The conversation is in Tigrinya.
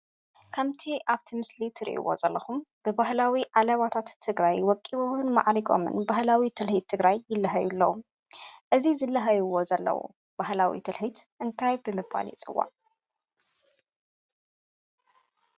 ከምቲ ኣብቲ ምስሊ ትሪእዎ ዘለኹም ብባህላዊ ዓለባታት ትግራይ ወቂቦምን ማዕሪጎምን ባህላዊ ትልሂት ትግራይ ይላሃዩ ኣለው፡፡ እዚ ዝለሃይዎ ዘለው ባህላዊ ትሊሂት እንታይ ብምባል ይፅዋዕ ?